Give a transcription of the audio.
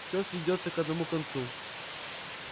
всё сведётся к одному концу